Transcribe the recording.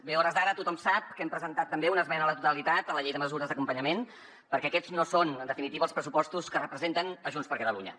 bé a hores d’ara tothom sap que hem presentat també una esmena a la totalitat a la llei de mesures d’acompanyament perquè aquests no són en definitiva els pressupostos que representen junts per catalunya